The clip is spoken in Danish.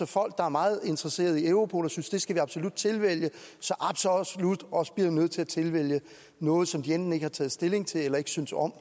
folk der er meget interesserede i europol og synes at det skal vi absolut tilvælge så også bliver nødt til at tilvælge noget som de enten ikke har taget stilling til eller ikke synes om